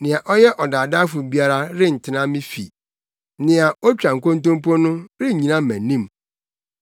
Nea ɔyɛ ɔdaadaafo biara rentena me fi; nea otwa nkontompo no rennyina mʼanim.